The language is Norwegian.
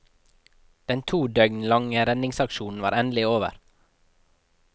Den to døgn lange redningsaksjonen var endelig over.